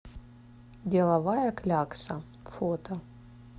деловая клякса фото